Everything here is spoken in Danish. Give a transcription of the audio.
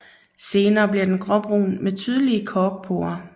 Senere bliver den gråbrun med tydelige korkporer